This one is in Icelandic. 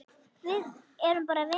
Við erum bara vinir.